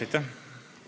Aitäh!